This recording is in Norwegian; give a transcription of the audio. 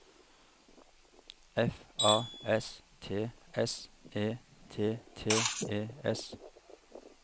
F A S T S E T T E S